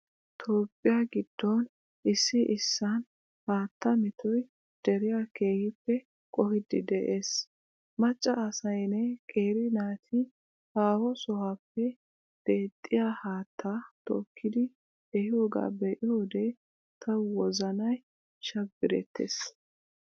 Toophphiya giddon issi issisan haattaa metoy deriya keehi qohiiddi de'ees. Macca asaynne qeeri naati haaho sohuwaappe deexxiyaa haattaa tokkidi ehiyoogaa be"iyoodee tawu wozanay shabbirettees.